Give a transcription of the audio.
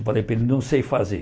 Eu falei para ele, não sei fazer.